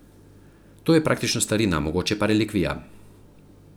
To je praktično starina, mogoče pa relikvija.